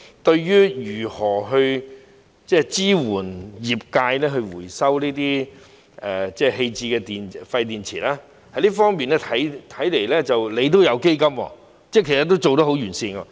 關於如何支援業界回收這些棄置的廢電池，這方面是設有基金的，其實已做得相當完善。